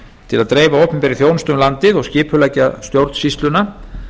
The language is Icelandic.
til að dreifa opinberri þjónustu um landið og skipuleggja stjórnsýsluna